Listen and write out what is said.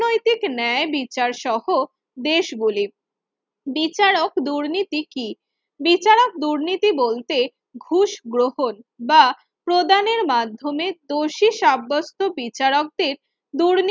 ঠিক ন্যায় বিচার সহ দেশগুলির বিচারক দুর্নীতি কি? বিচারক দুর্নীতি বলতে ঘুষ গ্রহণ বা প্রদানের মাধ্যমে দোষী সাব্যস্ত বিচারকদের দুর্নীতি